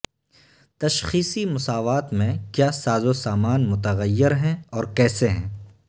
تشخیصی مساوات میں کیا سازوسامان متغیر ہیں اور کیسے ہیں